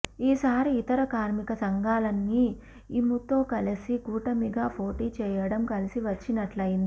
ఈ సారి ఇతర కార్మిక సంఘాలన్నీ ఇయుతో కలిసి కూటమిగా పోటీ చేయటం కలిసివచ్చినట్లయింది